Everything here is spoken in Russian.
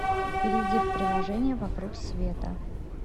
перейди в приложение вокруг света